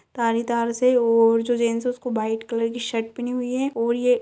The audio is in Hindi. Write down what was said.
तारी-तार से और जो जेंट्स है उसको व्हाइट कलर की शर्ट पहनी हुई है और ये --